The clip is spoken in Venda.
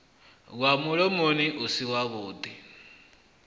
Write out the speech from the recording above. wa mulomoni u si wavhuḓi